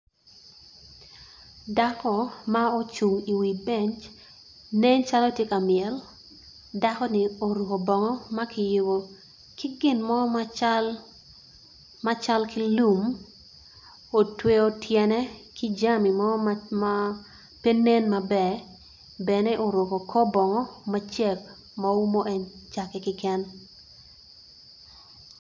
Dako ma ocung i beny nen calo tye ka myel dakoni oruko bongo ma ki yubo ki gin mo macal ki lum otweyo tyene ki jami mo ma penen maber bene oruko kor bongo macek ma umu en cake keken.